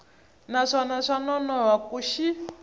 naswona swa nonoha ku xi